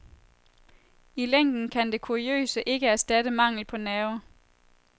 I længden kan det kuriøse ikke erstatte mangel på nerve.